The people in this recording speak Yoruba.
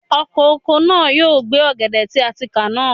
Ọkọ̀ oko náà yóò gbẹ́ ọ̀gẹ̀dẹ̀ tí a ti ká náà.